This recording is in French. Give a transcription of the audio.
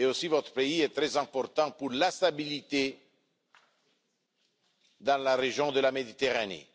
Votre pays est aussi très important pour la stabilité dans la région de la Méditerranée.